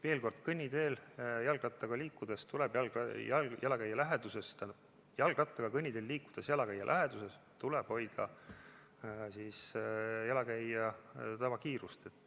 Veel kord: jalgrattaga kõnniteel jalakäija läheduses liikudes tuleb hoida jalakäija tavakiirust.